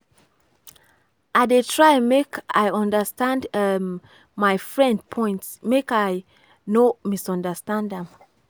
i dey try make i understand um my friend point make i no misunderstand am.